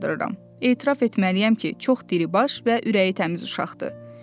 Etiraf etməliyəm ki, çox diribaş və ürəyi təmiz uşaqdır.